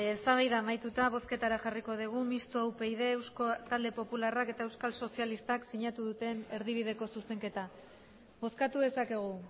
eztabaida amaituta bozketara jarriko dugu mistoa upyd eusko talde popularrak eta euskal sozialistak sinatu duten erdibideko zuzenketa bozkatu dezakegu